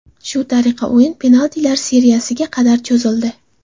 Shu tariqa o‘yin penaltilar seriyasiga qadar cho‘zildi.